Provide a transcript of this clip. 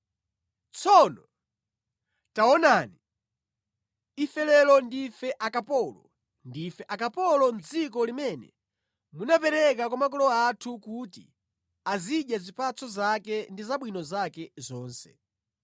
“Tsono, taonani! Ife lero ndife akapolo, ndife akapolo mʼdziko limene munapereka kwa makolo athu kuti azidya zipatso zake ndi zabwino zake zonse.